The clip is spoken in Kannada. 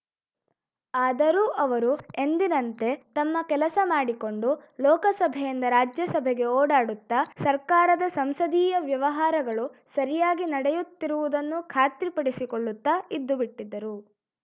ಆದರೂ ಅವರು ಎಂದಿನಂತೆ ತಮ್ಮ ಕೆಲಸ ಮಾಡಿಕೊಂಡು ಲೋಕಸಭೆಯಿಂದ ರಾಜ್ಯಸಭೆಗೆ ಓಡಾಡುತ್ತ ಸರ್ಕಾರದ ಸಂಸದೀಯ ವ್ಯವಹಾರಗಳು ಸರಿಯಾಗಿ ನಡೆಯುತ್ತಿರುವುದನ್ನು ಖಾತ್ರಿಪಡಿಸಿಕೊಳ್ಳುತ್ತ ಇದ್ದುಬಿಟ್ಟಿದ್ದರು